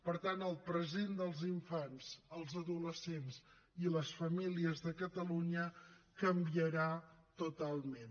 per tant el present dels infants els adolescents i les famílies de catalunya canviarà totalment